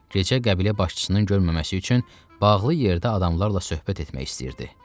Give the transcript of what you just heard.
Gecə qəbilə başçısının görməməsi üçün bağlı yerdə adamlarla söhbət etmək istəyirdi.